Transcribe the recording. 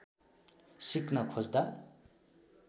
सिक्न खोज्दा